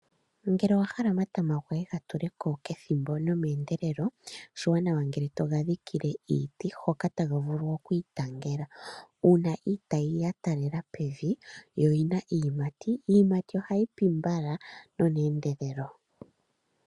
Ngele owahala omatama goye gatuleko pethimbo nomeendelelo, oshiwanawa ngele togadhikile iiti hoka taga vulu okwiitangela. Uuna iitayi yataalela pevi noyina iiyimati, iiyimati ohayi pi mbala noneendelelo.